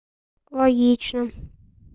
логично